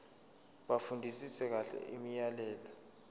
bafundisise kahle imiyalelo